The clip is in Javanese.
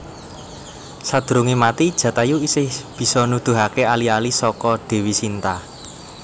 Sadurunge mati Jatayu isih bisa nuduhaké ali ali saka Dèwi Sinta